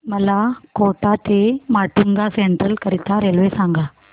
मला कोटा ते माटुंगा सेंट्रल करीता रेल्वे सांगा